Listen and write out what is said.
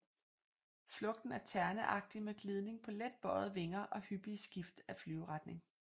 Flugten er terneagtig med glidning på let bøjede vinger og hyppige skift af flyveretning